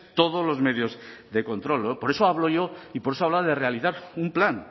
todos los medios de control por eso hablo yo y por eso hablaba de realizar un plan